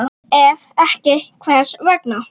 Ef ekki, hvers vegna?